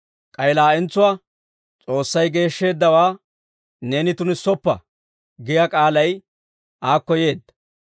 K'ay laa'entsuwaa, «S'oossay geeshsheeddawaa neeni tunissoppa» giyaa k'aalay aakko yeedda.